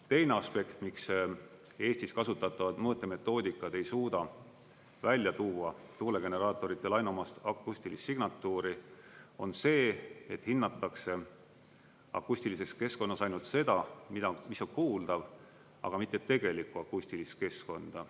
Teine aspekt, miks Eestis kasutatavad mõõtemetoodikad ei suuda välja tuua tuulegeneraatoritele ainuomast akustilist signatuuri, on see, et hinnatakse akustilises keskkonnas ainult seda, mis on kuuldav, aga mitte tegelikku akustilist keskkonda.